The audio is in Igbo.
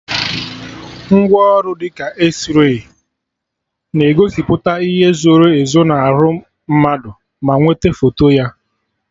Ngwaọrụ dị ka Ezray na-egosipụta ihe zoro ezo na arụ mmadụ ma nwete foto ya